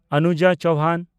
Anuja Chauhan